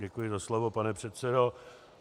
Děkuji za slovo, pane předsedo.